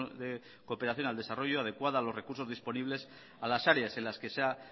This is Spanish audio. de cooperación al desarrollo adecuada a los recursos disponibles a las áreas en las que se ha